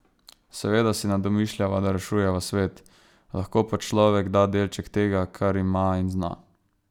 Seveda si ne domišljava, da rešujeva svet, lahko pa človek da delček tega, kar ima in zna.